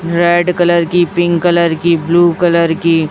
Red colour की pink colour की blue colour की।